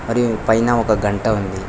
మరియు పైన ఒక గంట ఉంది.